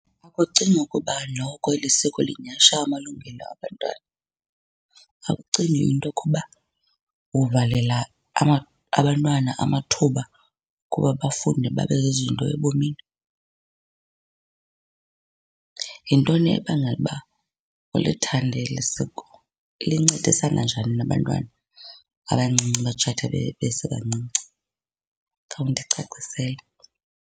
Ukucinga ukuba noko eli siko linyhasha amalungelo abantwana, akucingi into yokuba uvalela abantwana amathuba okuba bafunde babe zizinto ebomini? Yintoni ebangela uba ulithande eli siko? Lincedisana njani nabantwana abancinci abatshata besebancinci? Khawundicacisele.